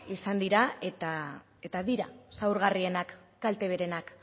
izan dira eta dira zaurgarrienak kalteberenak